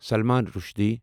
Salman Rushdie